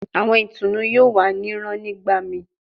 Awọn itunu yoo wa ni rán nigbamii